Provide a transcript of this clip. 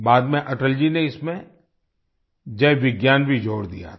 बाद में अटल जी ने इसमें जय विज्ञान भी जोड़ दिया था